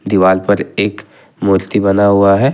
दिवाल पर एक मूर्ति बना हुआ है।